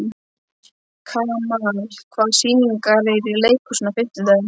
Kamal, hvaða sýningar eru í leikhúsinu á fimmtudaginn?